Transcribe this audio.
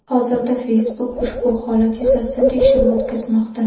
Hozirda Facebook ushbu holat yuzasidan tekshiruv o‘tkazmoqda.